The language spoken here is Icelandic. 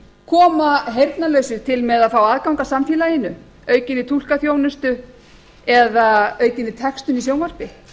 koma heyrnarlausir til með að fá aðgang að samfélaginu aukið við túlkaþjónustu eða aukið við textun í sjónvarpi